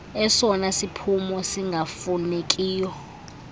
esona siphumo singafunekiyo